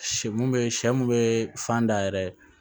Sɛ mun be sɛ mun be fan da yɛrɛ